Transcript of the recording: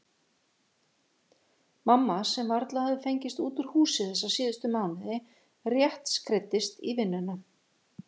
Mamma sem varla hafði fengist út úr húsi þessa síðustu mánuði, rétt skreiddist í vinnuna-?